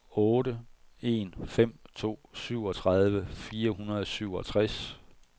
otte en fem to syvogtredive fire hundrede og syvogtres